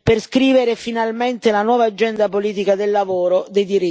per scrivere finalmente la nuova agenda politica del lavoro, dei diritti e delle pari opportunità.